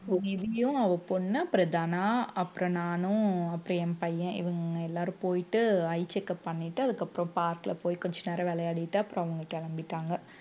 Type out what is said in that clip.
நிவியும் அவ பொண்ணு அப்புறம் தனா அப்புறம் நானும் அப்புறம் என் பையன் இவங்க எல்லாரும் போயிட்டு eye checkup பண்ணிட்டு அதுக்கப்புறம் park ல போய் கொஞ்ச நேரம் விளையாடிட்டு அப்புறம் அவங்க கிளம்பிட்டாங்க